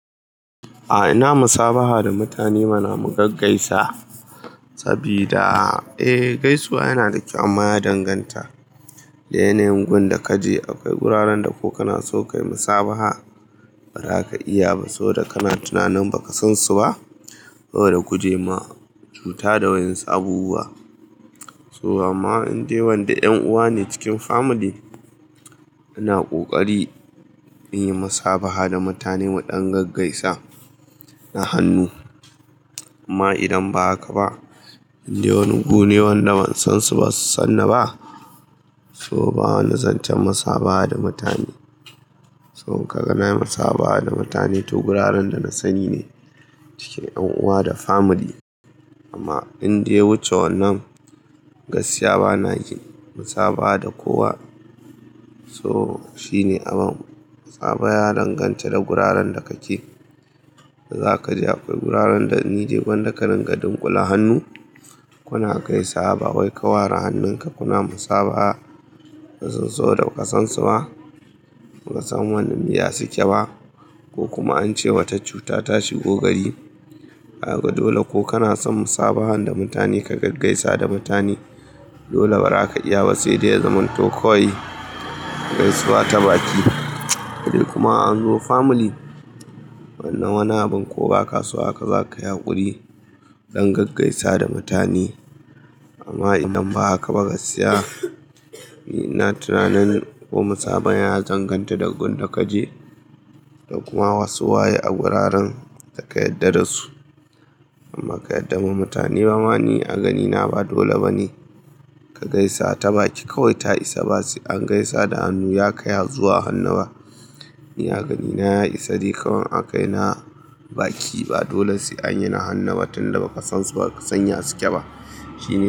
A, ina musabaha da mutane mana mu gaggaisa sabida, eh gaisuwa yana da kyau amma ya danganta da yanayin gun da ka je. Akwai wuraren da ko kana so ka yi musabaha ba za ka iya ba, soboda kana tunanin ba ka san su ba. Saboda guje ma cuta da wayansu abubuwa. To amma inde wanda 'yan uwa ne cikin family, ina kokari mu yi musabaha da mutane mu ɗan gaggaisa na hannu. Amma idan ba haka ba, inde wani gu ne wanda ban san su ba su san ni ba, so ba wani zancen musabaha da mutane. So in ka ga na yi musabaha da mutane toh wuraren da na sani ne cikin yan uwa da family. Amma inde ya wuce wannan gaskiya bana yi musabaha da kowa. So shine amma fa ya danganta da guraren da kake. Za ka je akwai guraren da ni dai gwanda ka ringa dunkula hannu kuna gaisawa. Bai wa kawara hannun ka kuna musabaha sun so da ba ka san su ba. Ba ka san wannan me ya su ke ba ko kuma ance wata cuta ta shigo gari. Dole ko kana son musabahan da mutane ka gaggaisa da mutane dole ba za ka iya ba sai dai ya zamanto kawai gaisuwa ta baki. Kuma an zo family wannan wani abin ko ba kaso haka za ka yi hakuri don gaggaisa da mutane. Amma idan ba haka ba gaskiya ni na tunanin ko musaban ya danganta da gun da kaje. Kuma wasu waye a guraren da ka yarda da su. Amma ka yarda ma mutane ba ma ni a gani na ba dole ba ne ka gaisa ta baki kawai ta isa ba sai an gaisa da hannu ya kayazu a hannu ba. Ni a ganina ya isa dai kawan aka yi na baki ba dole sai anyi na hannu ba tunda ba ka san su ba ba ka san ya suke ba. Shi ne.